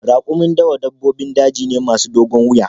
Raƙumin dawa dabbobin daji ne masu dogon wuya